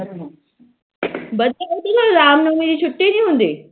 ਰਾਮ ਨੋਮੀ ਦੀ ਛੁਟੀ ਨੀ ਹੁੰਦੀ